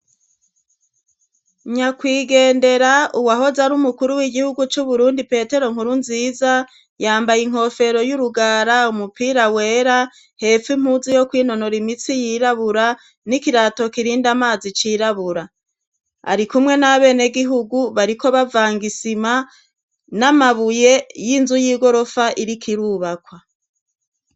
Nyakwigendera uwahoze ari umukuru w'igihugu c'uburundi petero nkuru nziza yambaye inkofero y'urugara umupira wera hefu impuzu yo kwinonora imitsi yirabura n'ikirato kirindi amazi cirabura ari kumwe n'a bene gihugu bariko bavangaisima n'amabuye y'inzu y'igorofa irikoirubakwa.